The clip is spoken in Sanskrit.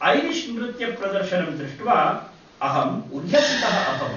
ऐरिश् नृत्यप्रदर्शनं दृष्ट्वा अहम् उल्लसितः अभवम्।